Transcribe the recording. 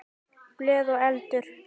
Blöð og eldur.